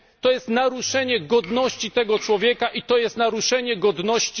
To jest naruszenie godności tego człowieka i to jest naruszenie godności...